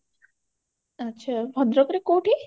ଆଛା ଭଦ୍ରକରେ କୋଉଠି